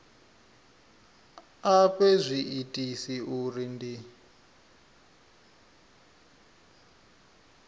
a fhe zwiitisi uri ndi